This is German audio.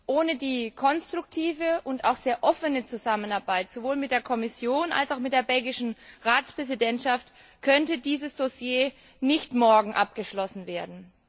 Ohne die konstruktive und auch sehr offene Zusammenarbeit sowohl mit der Kommission als auch mit der belgischen Ratspräsidentschaft könnte dieses Dossier nicht morgen abgeschlossen werden.